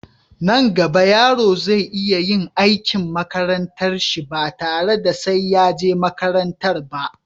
Nan gaba yaro zai iya yin aikin makarantar shi ba tare da sai ya je makaranta ba